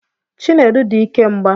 Chinedu di ike mgba